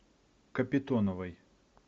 капитоновой